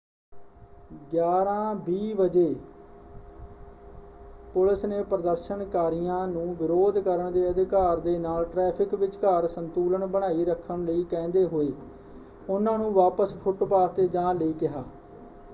11:20 ਵਜੇ ਪੁਲਿਸ ਨੇ ਪ੍ਰਦਰਸ਼ਨਕਾਰੀਆਂ ਨੂੰ ਵਿਰੋਧ ਕਰਨ ਦੇ ਅਧਿਕਾਰ ਦੇ ਨਾਲ ਟ੍ਰੈਫਿਕ ਵਿਚਕਾਰ ਸੰਤੁਲਨ ਬਣਾਈ ਰੱਖਣ ਲਈ ਕਹਿੰਦੇ ਹੋਏ ਉਹਨਾਂ ਨੂੰ ਵਾਪਸ ਫੁੱਟਪਾਥ ‘ਤੇ ਜਾਣ ਲਈ ਕਿਹਾ।